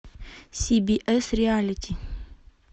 сибиэс реалити